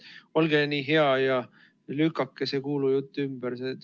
Olge nii hea ja lükake see kuulujutt ümber!